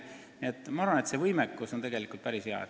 Nii et ma arvan, et nende sihtasutuste võimekus on tegelikult päris hea.